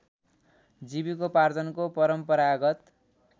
जीविकोपार्जनको परम्परागत